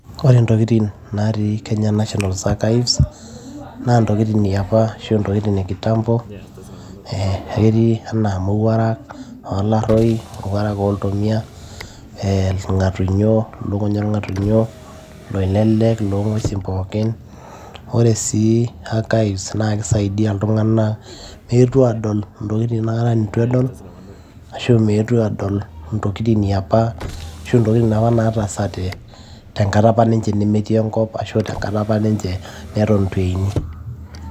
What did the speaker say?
Ore ntokitin naatii Kenya national archives naantokitin eapa ashu a ntokitin e kitambo, ee na ketii anaa mowuarak olaroi, mowuarak oltomia, ee irngatunnyio ,lukuny orngatunyo, loilele loongwesi pookii. Ore si archives na keyau iltunganak peeponu adol ntokitin nituakata edol ashu eponu adol ntokin eeapa , ntokitin eapa nataasate nemetii enkop ashu tenkata ninche neton itueni.